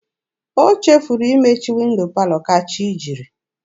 O chefuru imechi windo palọ ka chi jiri.